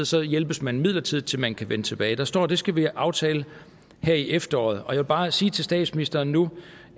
så hjælpes man midlertidigt til man kan vende tilbage der står at det skal vi aftale her i efteråret og jeg vil bare sige til statsministeren nu